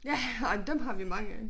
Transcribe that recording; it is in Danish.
Ja ej dem har vi mange af